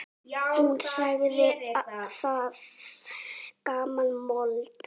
Hún sagði það gamla mold.